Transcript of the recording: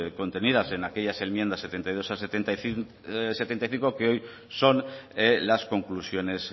contenidas en aquellas enmiendas setenta y dos a setenta y cinco que hoy son las conclusiones